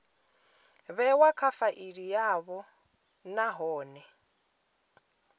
vhewa kha faili yavho nahone